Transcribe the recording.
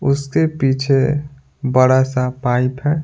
उसके पीछे बड़ा सा पाइप है।